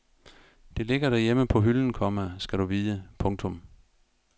Det ligger derhjemme på hylden, komma skal du vide. punktum